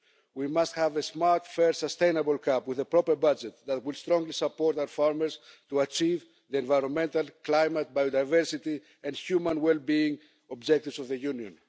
We must have a smart, fair, sustainable CAP, with a proper budget, that would strongly support our farmers to achieve the environmental, climate, biodiversity and human well-being objectives of the Union.